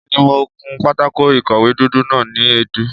Èmi ni mo kun pátákó ìkọ̀wé dúdú náà ni èédú.